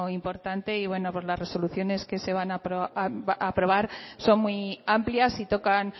importante y bueno pues las resoluciones que se van a aprobar son muy amplias y tocan